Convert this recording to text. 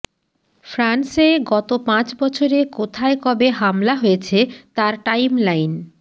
ফ্রান্সে গত পাঁচ বছরে কোথায় কবে হামলা হয়েছে তার টাইমলাইন